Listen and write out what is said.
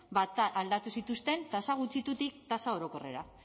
ba aldatu zituzten tasa gutxitutik tasa orokorrera